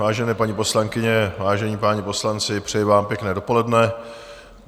Vážené paní poslankyně, vážení páni poslanci, přeji vám pěkné dopoledne.